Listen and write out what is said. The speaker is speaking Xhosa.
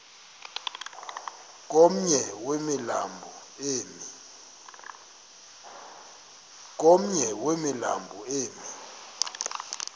komnye wemilambo emi